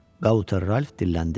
Gauter Ralph dilləndi.